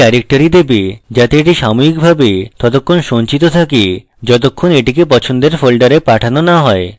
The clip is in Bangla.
এটি directory দেবে যাতে এটি সাময়িকভাবে ততক্ষন সঞ্চিত থাকে যতক্ষণ এটিকে পছন্দের folder পাঠানো না হয়